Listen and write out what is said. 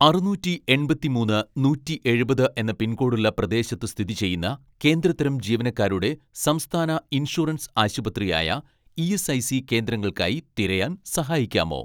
അറുനൂറ്റി എൺപത്തിമൂന്ന് നൂറ്റി എഴുപത് എന്ന പിൻകോഡുള്ള പ്രദേശത്ത് സ്ഥിതിചെയ്യുന്ന കേന്ദ്ര തരം ജീവനക്കാരുടെ സംസ്ഥാന ഇൻഷുറൻസ് ആശുപത്രി ആയ ഇ.എസ്.ഐ.സി കേന്ദ്രങ്ങൾക്കായി തിരയാൻ സഹായിക്കാമോ